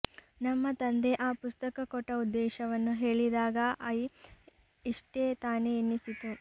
ನಮ್ಮ ತಂದೆ ಆ ಪುಸ್ತಕ ಕೊಟ್ಟ ಉದ್ದೇಶವನ್ನು ಹೇಳಿದಾಗ ಐ ಇಷ್ಟೇ ತಾನೆ ಎನಿಸಿತು